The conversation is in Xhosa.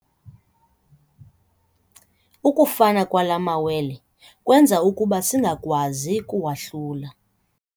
Ukufana kwala mawele kwenza ukuba singakwazi kuwahlula.